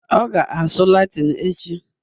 Ọ ga-asụ Latịn echi